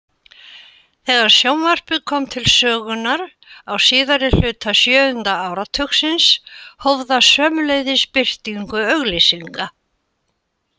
Þegar sjónvarpið kom til sögunnar á síðari hluta sjöunda áratugarins hóf það sömuleiðis birtingu auglýsinga.